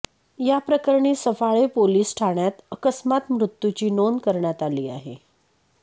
याप्रकरणी सफाळे पोलिस ठाण्यात अकस्मात मृत्यूची नोंद करण्यात आली आहे